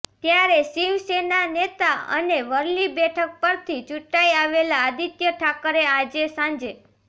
ત્યારે શિવસેના નેતા અને વરલી બેઠક પરથી ચૂંટાઈ આવેલા આદિત્ય ઠાકરે આજે સાંજે